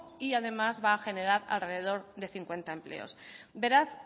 y además va a general alrededor de cincuenta empleos beraz